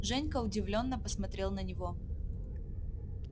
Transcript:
женька удивлённо посмотрел на него